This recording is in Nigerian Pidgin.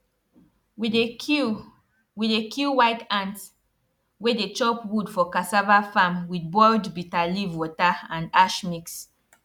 we dey kill we dey kill white ant wey dey chop wood for cassava farm with boiled bitter leaf water and ash mix